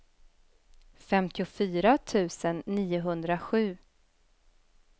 femtiofyra tusen niohundrasju